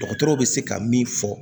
Dɔgɔtɔrɔw bɛ se ka min fɔ